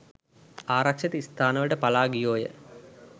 ආරක්ෂිත ස්ථානවලට පලා ගියෝ ය.